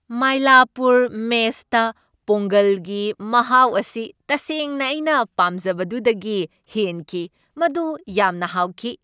ꯃꯥꯏꯂꯥꯄꯨꯔ ꯃꯦꯁꯇ ꯄꯣꯡꯒꯜꯒꯤ ꯃꯍꯥꯎ ꯑꯁꯤ ꯇꯁꯦꯡꯅ ꯑꯩꯅ ꯄꯥꯝꯖꯕꯗꯨꯗꯒꯤ ꯍꯦꯟꯈꯤ꯫ ꯃꯗꯨ ꯌꯥꯝꯅ ꯍꯥꯎꯈꯤ꯫